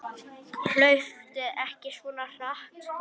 Hlauptu ekki svona hratt.